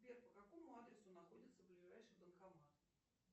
сбер по какому адресу находится ближайший банкомат